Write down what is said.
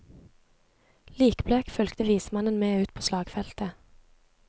Likblek fulgte vismannen med ut på slagfeltet.